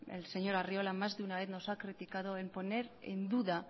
el señor arriola más de una vez nos ha criticado en poner en duda